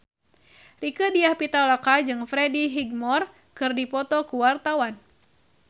Rieke Diah Pitaloka jeung Freddie Highmore keur dipoto ku wartawan